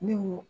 Ne ko